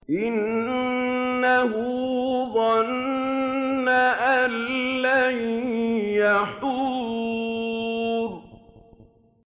إِنَّهُ ظَنَّ أَن لَّن يَحُورَ